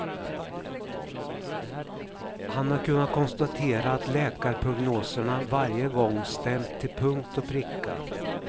Han har kunnat konstatera att läkarprognoserna varje gång stämt till punkt och pricka.